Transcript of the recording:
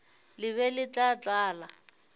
le be le tla tlala